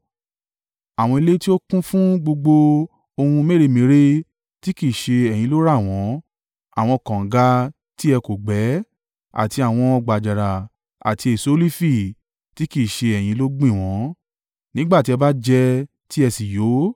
àwọn ilé tí ó kún fún gbogbo ohun mèremère tí kì í ṣe ẹ̀yin ló rà wọ́n, àwọn kànga tí ẹ kò gbẹ́, àti àwọn ọgbà àjàrà àti èso olifi tí kì í ṣe ẹ̀yin ló gbìn wọ́n. Nígbà tí ẹ bá jẹ tí ẹ sì yó,